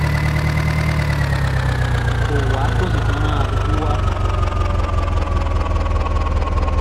kò wá kó sì tún ran aṣojú wa